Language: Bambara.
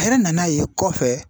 A yɛrɛ nan'a ye kɔfɛ.